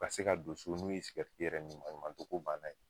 Ka se ka don so n'u ye sigɛriti yɛrɛ min maɲumato ko banna ye.